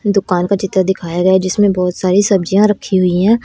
दुकान का चित्र दिखाया गया जिसमें बहुत सारी सब्जियां रखी हुई है।